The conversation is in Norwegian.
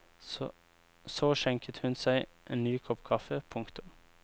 Så skjenket hun seg en ny kopp kaffe. punktum